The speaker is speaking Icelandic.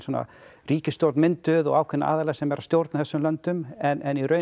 ríkisstjórn mynduð og ákveðnir aðilar sem eru að stjórna þessum löndum en í raun